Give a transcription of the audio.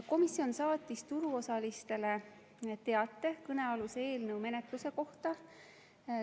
Komisjon saatis turuosalistele teate kõnealuse eelnõu menetluse kohta.